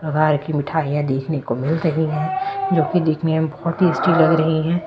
प्रकार की मिठाइयां देखने को मिल रही है मिल रही हैं जो कि देखने में बहुत टेस्टी लग रही है।